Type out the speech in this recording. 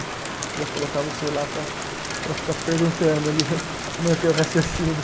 Precisa colocar você lá para, para ficar perguntando ali, manter o raciocínio.